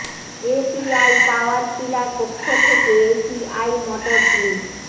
ACI power tiller এর পক্ষ থেকে এসিআই মটরস লি